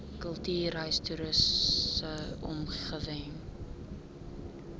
kultuurhis toriese omgewing